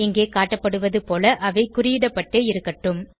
இங்கே காட்டப்படுவது போல அவை குறியிடப்பட்டே இருக்கட்டும்